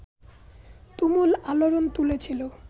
তুমুল আলোড়ন তুলেছিল